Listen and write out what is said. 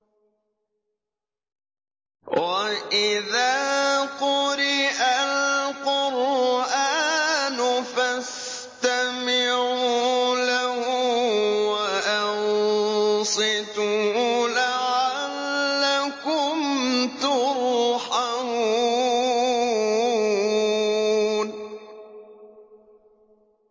وَإِذَا قُرِئَ الْقُرْآنُ فَاسْتَمِعُوا لَهُ وَأَنصِتُوا لَعَلَّكُمْ تُرْحَمُونَ